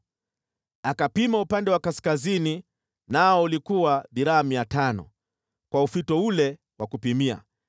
Akapima upande wa kaskazini, nao ulikuwa dhiraa 500 kwa ufito ule wa kupimia.